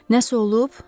Nəysə olub?